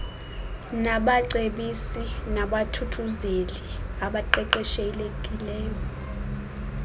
nabacebisi nabathuthuzeli abaqeqeshiweyo